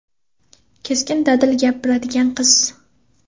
Keskin va dadil gapiradigan qiz.